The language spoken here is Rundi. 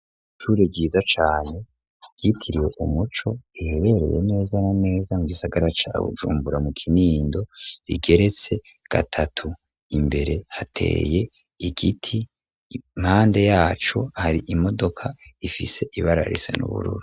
Ishure ryiza cane ryitiriwe Umuco riherereye neza na neza mu gisagara ca Bujumbura mu Kinindo rigeretse gatatu. Imbere hateye igiti, impande yaco hari imodoka ifise ibara risa n'ubururu.